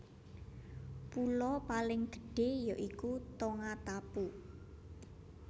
Pulo paling gedhé ya iku Tongatapu